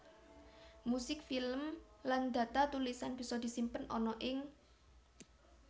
Musik film lan data tulisan bisa disimpen ana ing